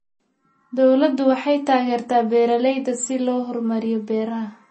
Dawladdu waxay taageertaa beeralayda si loo horumariyo beeraha.